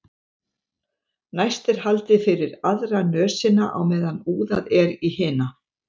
Næst er haldið fyrir aðra nösina á meðan úðað er í hina.